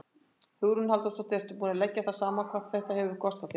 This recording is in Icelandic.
Hugrún Halldórsdóttir: Ertu búinn að leggja það saman hvað þetta hefur kostað þig?